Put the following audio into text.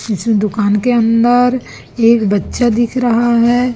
इस दुकान के अंदर एक बच्चा दिख रहा है।